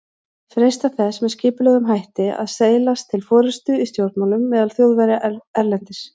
freistað þess með skipulegum hætti að seilast til forystu í stjórnmálum meðal Þjóðverja erlendis.